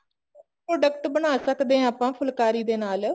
product ਬਣਾ ਸਕਦੇ ਹਾਂ ਆਪਾਂ ਫੁਲਕਾਰੀ ਦੇ ਨਾਲ